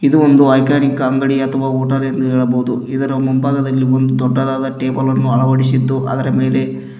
ಇದು ಒಂದು ಐಕಾನಿಕ್ ಅಂಗಡಿ ಅಥವಾ ಹೋಟೆಲ್ ಎಂದು ಹೇಳಬಹುದು ಇದರ ಮುಂಭಾಗದಲ್ಲಿ ಒಂದು ದೊಡ್ಡದಾದ ಟೇಬಲ್ ಅನ್ನು ಅಳವಡಿಸಿದ್ದು ಅದರ ಮೇಲೆ--